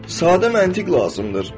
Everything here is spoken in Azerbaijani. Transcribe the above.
Sadə məntiq lazımdır.